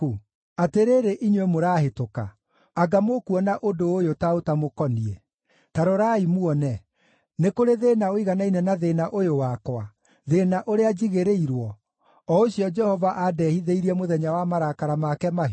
“Atĩrĩrĩ, inyuĩ mũrahĩtũka, anga mũkuona ũndũ ũyũ ta ũtamũkoniĩ? Ta rorai muone. Nĩ kũrĩ thĩĩna ũiganaine na thĩĩna ũyũ wakwa, thĩĩna ũrĩa njigĩrĩirwo, o ũcio Jehova aandehithĩirie mũthenya wa marakara make mahiũ?